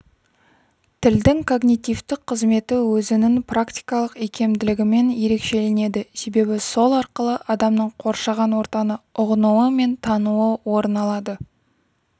тілдің когнитивтік қызметі өзінің практикалық икемділігімен ерекшеленеді себебі сол арқылы адамның қоршаған ортаны ұғынуы мен тануы орын алады